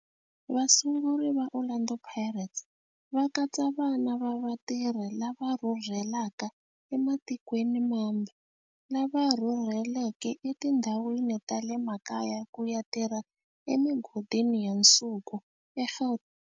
Vasunguri va Orlando Pirates va katsa vana va vatirhi lava rhurhelaka ematikweni mambe lava rhurheleke etindhawini ta le makaya ku ya tirha emigodini ya nsuku eGauteng.